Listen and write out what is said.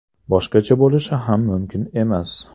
Boshqacha bo‘lishi ham mumkin emas.